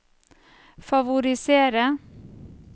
favorisere